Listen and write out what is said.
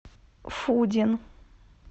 фудин